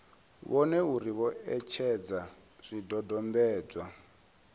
vhone uri vho etshedza zwidodombedzwa